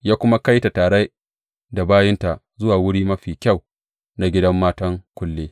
Ya kuma kai ta tare da bayinta zuwa wuri mafi kyau na gidan matan kulle.